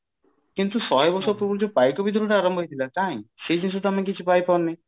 କିନ୍ତୁ ଶହେ ବର୍ଷ ପୂର୍ବରୁ ଯୋଉ ପାଇକ ବିଦ୍ରୋହ ଟା ଆରମ୍ଭ ହେଇଥିଲା କାଇଁ ସେ ଜିନିଷ ଟା ମୁଁ କିଛି ପାଇ ପାରୁନି